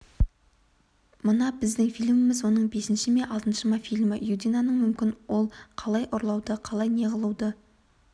мына біздің фильміміз оның бесінші ме алтыншы фильмі юдинаның мүмкін ол қалай ұрлауды қалай неғылуды